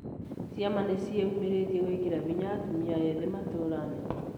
Ciama nĩ ciĩumĩrĩtie gwĩkĩra hinya atumia ethĩ matũra-inĩ